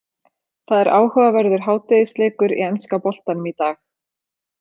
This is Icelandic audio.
Það er áhugaverður hádegisleikur í enska boltanum í dag.